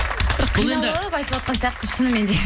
бір қиналып айтыватқан сияқтысыз шынымен де